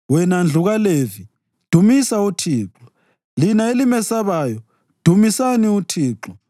wena ndlu kaLevi, dumisa uThixo lina elimesabayo, dumisani uThixo.